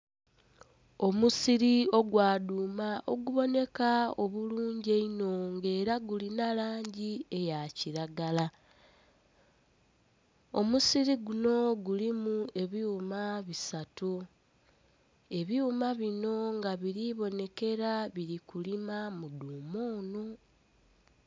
Omusiri ogwa dhuuma oguboneka obulungi einho nga era gulina langi eya kiragala. Omusiri guno gulimu ebyuma bisatu, ebyuma bino nga biri bonekera biri kulima mu dhuuma ono.